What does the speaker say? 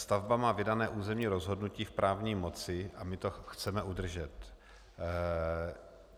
Stavba má vydané územní rozhodnutí v právní moci a my to chceme udržet.